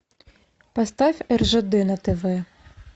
поставь ржд на тв